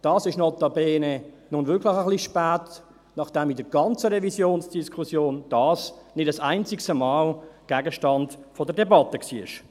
Dies ist notabene nun wirklich etwas spät, nachdem dies in der ganzen Revisionsdiskussion nicht ein einziges Mal Gegenstand der Debatte war.